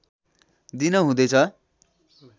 दिन हुँदैछ